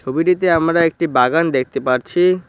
ছবিটিতে আমরা একটি বাগান দেখতে পারছি।